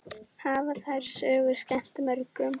Hafa þær sögur skemmt mörgum.